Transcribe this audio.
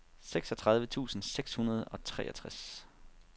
seksogtredive tusind seks hundrede og treogtres